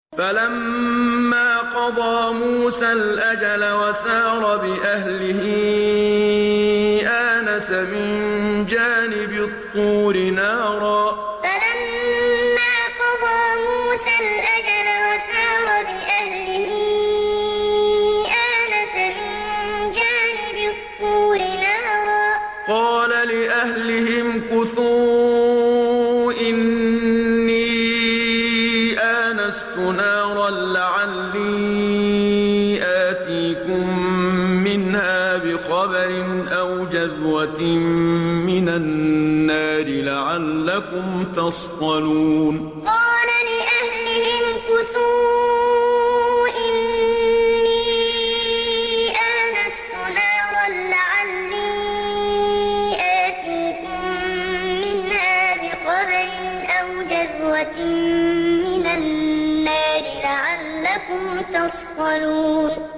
۞ فَلَمَّا قَضَىٰ مُوسَى الْأَجَلَ وَسَارَ بِأَهْلِهِ آنَسَ مِن جَانِبِ الطُّورِ نَارًا قَالَ لِأَهْلِهِ امْكُثُوا إِنِّي آنَسْتُ نَارًا لَّعَلِّي آتِيكُم مِّنْهَا بِخَبَرٍ أَوْ جَذْوَةٍ مِّنَ النَّارِ لَعَلَّكُمْ تَصْطَلُونَ ۞ فَلَمَّا قَضَىٰ مُوسَى الْأَجَلَ وَسَارَ بِأَهْلِهِ آنَسَ مِن جَانِبِ الطُّورِ نَارًا قَالَ لِأَهْلِهِ امْكُثُوا إِنِّي آنَسْتُ نَارًا لَّعَلِّي آتِيكُم مِّنْهَا بِخَبَرٍ أَوْ جَذْوَةٍ مِّنَ النَّارِ لَعَلَّكُمْ تَصْطَلُونَ